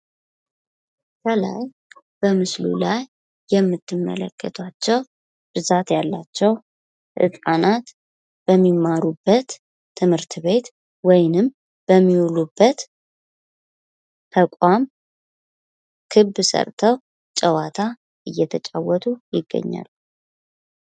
በምስሉ ላይ የምትመለከቷቸው ብዛት ያላቸው ህጻናት በሚማሩበት ትምህርት ቤት ወይም በሚውሉበት ተቋም ክብ ሰርተው ጨዋታ እየተጫወቱ ይገኛሉ።